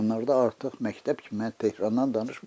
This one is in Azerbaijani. Onlarda artıq məktəb kimi mən Tehranı danışmıram.